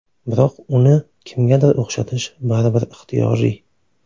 Biroq uni kimgadir o‘xshatish baribir ixtiyoriy.